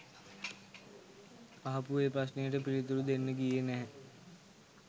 අහපු ඒ ප්‍රශ්නයට පිළිතුරු දෙන්න ගියේ නැහැ.